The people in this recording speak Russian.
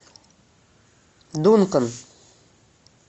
дункан